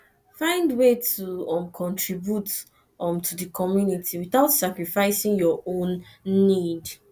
find way to um contribute um to di community without sacrificing your own nned